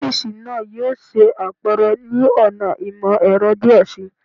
Ọfiisi naa yoo ṣe apẹrẹ ni ọna imọ-ẹrọ diẹ sii